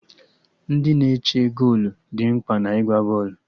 Ndị na-eche golu dị mkpa na ịgba bọọlụ